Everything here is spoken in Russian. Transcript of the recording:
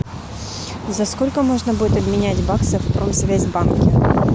за сколько можно будет обменять баксы в промсвязьбанке